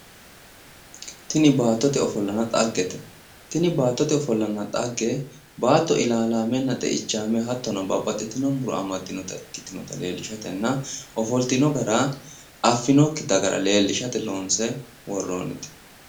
Tini baattote ofollanna xaggete Tini baattote ofollanna xaggee Baatto ilaalaammenna xeichaame hattonno babbaxitino Muro amadinota ikkitinota leelishatenna ofoltino Gara afinoki dagara leelishate loonse worrinite